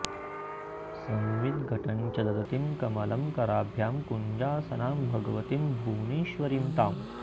संवित् घटञ्च दधतीं कमलं कराभ्यां कञ्जासनां भगवतीं भुवनेश्वरीं ताम्